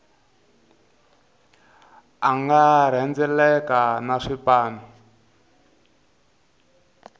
a nga rhendzeleka na swipanu